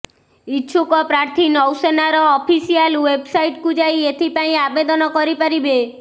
ଇଚ୍ଛୁକ ପ୍ରାର୍ଥୀ ନୌସେନାର ଅଫିସିଆଲ ୱେବ୍ସାଇଟ୍କୁ ଯାଇ ଏଥିପାଇଁ ଆବେଦନ କରିପାରିବେ